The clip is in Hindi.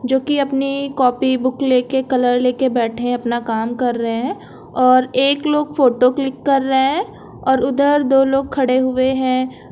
जो कि अपनी कॉपी बुक लेके कलर लेके बैठे हैं अपना काम कर रहे हैं और एक लोग फोटो क्लिक कर रहे हैं और उधर दो लोग खड़े हुए हैं।